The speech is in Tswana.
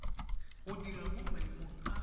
go dira mo maemong a